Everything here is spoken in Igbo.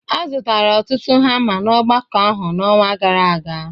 A zụtara ọtụtụ hama na ogbako ahụ n'ọnwa gara aga